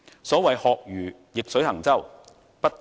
所謂"學如逆水行舟，不進則退"。